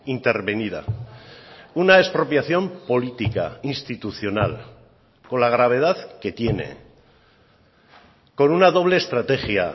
intervenida una expropiación política institucional con la gravedad que tiene con una doble estrategia